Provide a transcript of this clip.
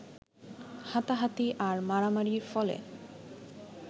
হাতাহাতি আর মারামারির ফলে